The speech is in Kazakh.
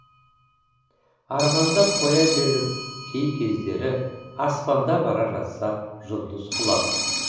армандап қоя берм кей кездері аспанда бара жатса жұлдыз құлап